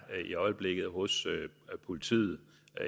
i øjeblikket hos politiet